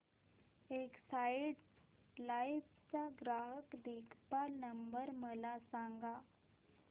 Exide life चा ग्राहक देखभाल नंबर मला सांगा